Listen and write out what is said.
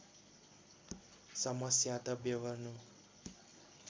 समस्या त ब्यहोर्नु